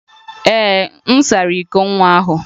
Ee, m sara iko nwa ahụ.